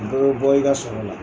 Dɔ bɛ bɔ i ka sɔrɔ la